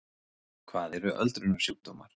hvað eru öldrunarsjúkdómar